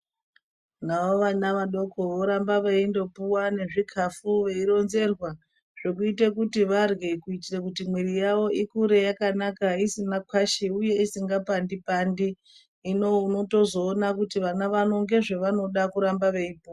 Navo vana vadoko voramba veindopuwa zvikafu veironzerwa zvokuita kuti varye kuitira kuti mwiri yavo ikure yakanaka isina kwashi uye isingapandi pandit. Hino unozoona kuti vana ndozvavanoda kuramba veipuwa